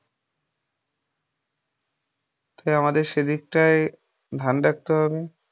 তাই আমাদের সেই দিকটায় ধ্যান রাখতে হবে ।